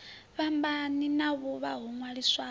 fhambani na vhuvha ho ṅwaliswaho